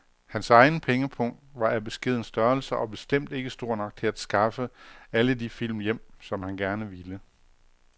Hans egen pengepung var af beskeden størrelse og bestemt ikke stor nok til at skaffe alle de film hjem, som han gerne ville.